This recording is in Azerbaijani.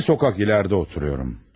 Bir küçə irəlidə yaşayıram.